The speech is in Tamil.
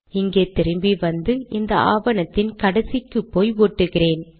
இங்கே திரும்பி வந்து இந்த ஆவணத்தின் கடைசிக்குப்போய் ஒட்டுகிறேன்